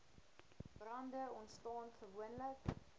brande ontstaan gewoonlik